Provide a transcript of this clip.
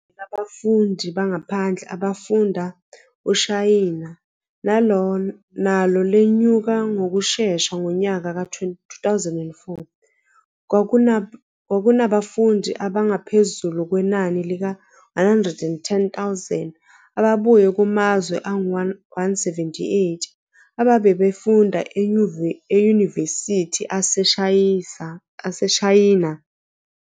Inani labafundi bangaphandle abafunda eShayina, nalo lenyuke ngokushesha, ngonyaka ka 2004, kwakunabafundi abangaphezulu kwenani lika 110 000 ababuye kumazwe angu 178, ababefunda emayunivesithi aseShayina.